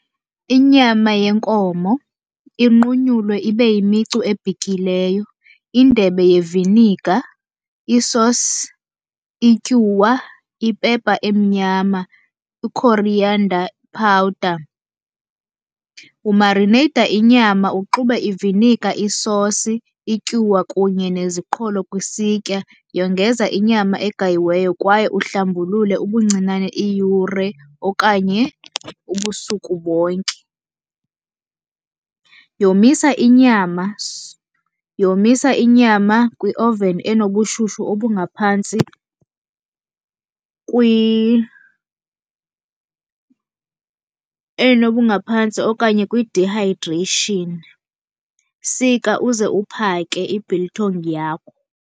Inyama yenkomo inqunyulwe ibe yimicu ebhityileyo, indebe yeviniga, isosi, ityuwa, ipepa emnyama, i-coriander powder. Umarineyitha inyama, uxube iviniga, isosi, ityuwa kunye neziqholo kwisitya. Yongeza inyama egayiweyo kwaye uhlambulule ubuncinane iyure okanye ubusuku bonke. Yomisa inyama , yomisa inyama kwi-oven enobushushu obungaphantsi enobungaphantsi okanye kwi-dehydration. Sika uze uphake i-biltong yakho.